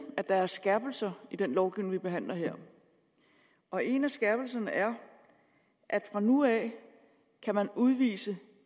at der er skærpelser i den lovgivning vi behandler her og en af skærpelserne er at fra nu af skal man udvise